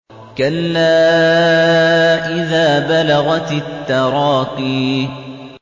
كَلَّا إِذَا بَلَغَتِ التَّرَاقِيَ